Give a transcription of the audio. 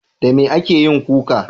Da mai ake yin kuka?